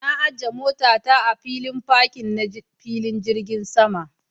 Na ajiye motata a filin fakin ɗin filin jirgin sama